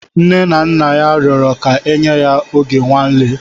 Nne na nna ya rụọrọ ka enye ya oge nnwale.